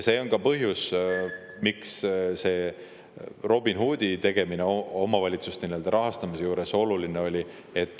See on ka põhjus, miks see Robin Hoodi tegemine omavalitsuste rahastamisel oluline on.